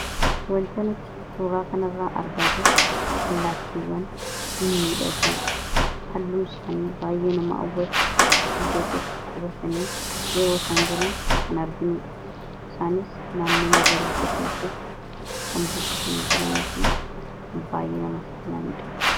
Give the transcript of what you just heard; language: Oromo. Wanta nuti suuraa kana irratti argaa jirru allaattiiwwan hin miidhaguu halluun isaanii baay'ee nama hawwatu iddoo tokko qubatanii yeroo isaan jiran kan arginuudha. isaanis naannoo magariisa ta'e keessa kan buufatanii jiranii fi kan baay'ee namatti tolaniidha.